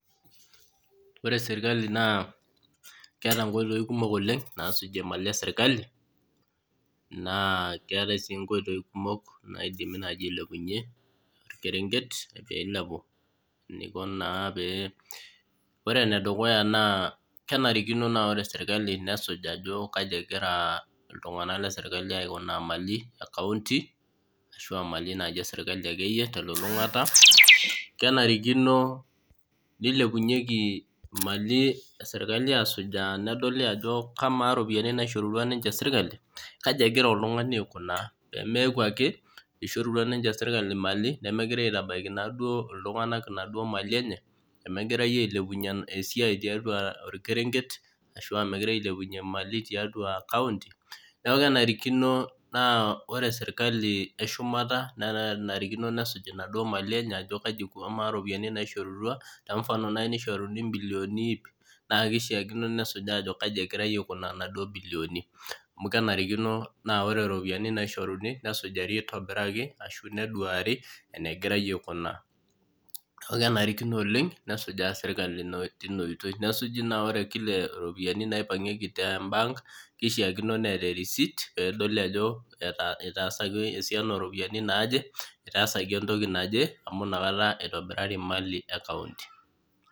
Ore sirkali naa keeta nkoitoi kumok naasujie mali esirkali naa keetae sii naaji nkoitoi kumok naidim ailepunyie orkerempe pee eilepu, ore ene dukuya naa kenarikino nesujaa sirkali ajo kaji egira iltunganak aikunaa mali lekaonty, ashua mali akeyie naaji esirkali telulungata ,menarikino neilepunyeki mali esirkali adol neisuji ajo Kamala ropiyiani naishoru ninye sirkali kaji egira oltungani aikunaa pee meeku ake eishorutua ninche sirkali mali nemegirae aitabaiki naduo mali enye nemegirae ailepunyie esiai tiatua orkerenket, ashua megirae ailepunyie mali tiatua kaonty neeku kenarikino naa ore sirkali eshumata naa kenarikino nesuj ajo Kamaa naduo ropiyiani naishorua ,tenfano naaji nishoruni mbilioni iip na keishaa nesujaa ajo kaji egira aikunaa naduo mbilioni ,amu kenarikino naa ore ropiyiani naishoruni nesujari aitobiraki ashu neduari engirae aikuna. kenarikino nesuj sirkali tina oitoi neeku ore ropiyiani naipangieki tembank keishiakino neeta erisit ajo itaasaki esiana ooropiyiani naaje ,itaasaki entoki amu inakata eitobirari mali esirkali.